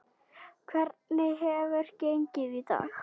Hvernig hefur gengið í dag?